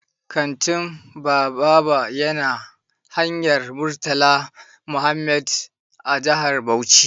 Kantin Bababa ya na hanyar Murtala Mohammed a jihar Bauchi.